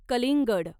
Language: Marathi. कलिंगड